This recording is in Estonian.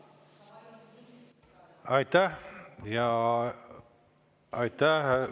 Aitäh!